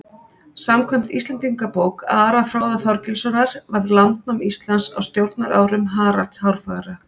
Samkvæmt Íslendingabók Ara fróða Þorgilssonar varð landnám Íslands á stjórnarárum Haralds hárfagra.